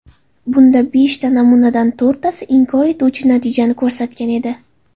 Bunda beshta namunadan to‘rttasi inkor etuvchi natijani ko‘rsatgan edi.